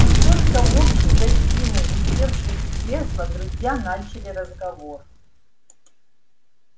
и только в общей гостиной усевшись в кресла друзья начали разговор